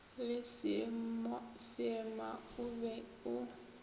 le seema o be o